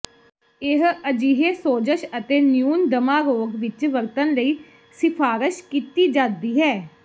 ਇਹ ਅਜਿਹੇ ਸੋਜ਼ਸ਼ ਅਤੇ ਨਿਊਨ ਦਮਾ ਰੋਗ ਵਿੱਚ ਵਰਤਣ ਲਈ ਸਿਫਾਰਸ਼ ਕੀਤੀ ਜਾਦੀ ਹੈ